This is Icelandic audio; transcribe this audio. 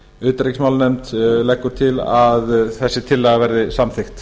utanríkismálanefnd leggur til að þessi tillaga verði samþykkt